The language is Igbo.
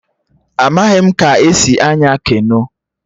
Amaghị m ka esi anya keno